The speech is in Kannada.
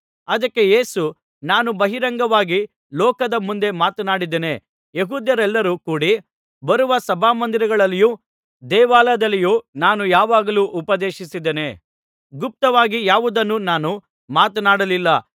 ಅದಕ್ಕೆ ಯೇಸು ನಾನು ಬಹಿರಂಗವಾಗಿ ಲೋಕದ ಮುಂದೆ ಮಾತನಾಡಿದ್ದೇನೆ ಯೆಹೂದ್ಯರೆಲ್ಲರು ಕೂಡಿ ಬರುವ ಸಭಾಮಂದಿರಗಳಲ್ಲಿಯೂ ದೇವಾಲಯದಲ್ಲಿಯೂ ನಾನು ಯಾವಾಗಲೂ ಉಪದೇಶಿಸಿದ್ದೇನೆ ಗುಪ್ತವಾಗಿ ಯಾವುದನ್ನೂ ನಾನು ಮಾತನಾಡಲಿಲ್ಲ